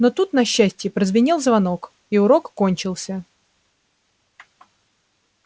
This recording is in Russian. но тут на счастье прозвенел звонок и урок кончился